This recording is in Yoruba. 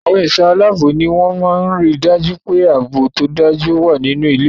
Àwọn ẹ̀ṣọ́-aláábò ní wọ́n máa ń ri dájú pé ààbò tó dájú wà nínú ilé-ẹ̀kọ́.